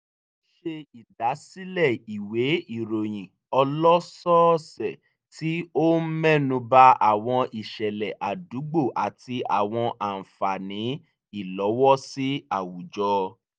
ó ṣe ìdásílẹ̀ ìwé ìròyìn ọlọ́sọ̀ọ̀sẹ̀ tí ó ń mẹ́nu ba àwọn ìṣẹ̀lẹ̀ àdúgbò àti àwọn àǹfààní ìlọ́wọ́sí àwùjọ